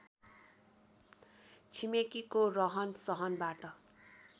छिमेकीको रहन सहनबाट